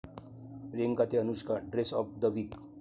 प्रियांका ते Anushka dress of the weak'